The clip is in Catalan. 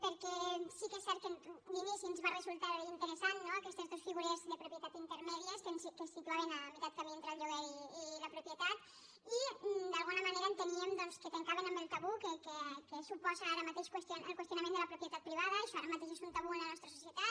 perquè sí que és cert que d’inici ens van resultar interessants no aquestes dos figures de propietat intermèdies que ens situaven a meitat de camí entre el lloguer i la propietat i d’alguna manera enteníem doncs que trencaven amb el tabú que suposa ara mateix el qüestionament de la propietat privada això ara mateix és un tabú en la nostra societat